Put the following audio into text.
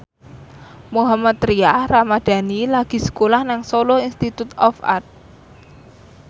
Mohammad Tria Ramadhani lagi sekolah nang Solo Institute of Art